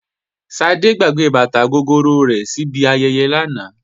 Ṣadé gbàgbé bàtà gogoro rẹ̀ síbi ayẹyẹ lánàá